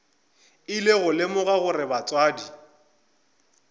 ile go lemoga gore batswadi